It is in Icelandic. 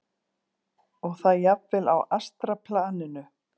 Og það jafnvel á astralplaninu.